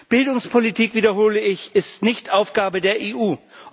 Bildungspolitik ich wiederhole ist nicht Aufgabe der EU.